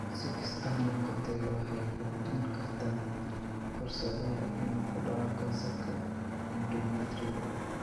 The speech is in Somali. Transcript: Si kastaba ha noqotee, waxay kordhin kartaa fursada inuu ku dhaco kansarka endometrial.